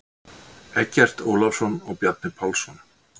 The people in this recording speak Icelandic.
Eggert Ólafsson og Bjarni Pálsson.